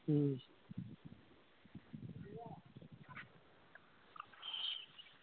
മ്മ്